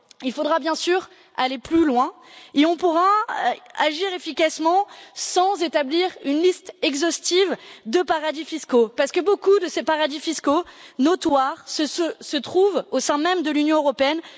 Il faudra bien sûr aller plus loin, et on ne pourra agir efficacement sans établir une liste exhaustive de paradis fiscaux, parce que beaucoup de ces paradis fiscaux notoires se trouvent au sein même de l'Union européenne.